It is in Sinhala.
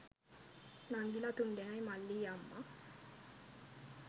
නංගිලා තුන්දෙනයි මල්ලියි අම්මා